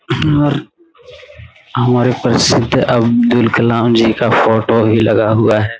यह हमारे प्रसिद अब्दुल कलाम जी का फोटो लगा हुआ है।